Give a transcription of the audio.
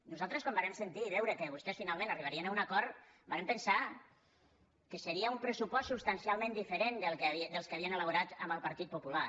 nosaltres quan vàrem sentir i veure que vostès finalment arribarien a un acord vàrem pensar que seria un pressupost substancialment diferent dels que havien elaborat amb el partit popular